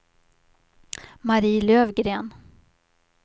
Marie Löfgren